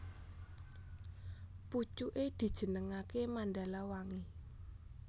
Pucuké dijenengaké Mandalawangi